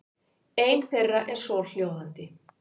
Ein þeirra er svohljóðandi: